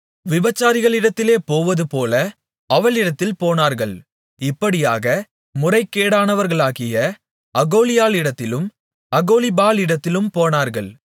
விபசாரிகளிடத்திலே போவதுபோல அவளிடத்தில் போனார்கள் இப்படியாக முறைகேடானவர்களாகிய அகோலாளிடத்திலும் அகோலிபாளிடத்திலும் போனார்கள்